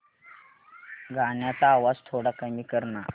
गाण्याचा आवाज थोडा कमी कर ना